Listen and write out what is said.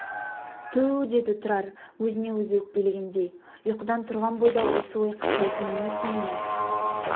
түу деді тұрар өзіне өзі өкпелегендей ұйқыдан тұрған бойда осы ой қыстайтыны несі мені